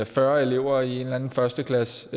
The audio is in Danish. fyrre elever i en eller anden første klasse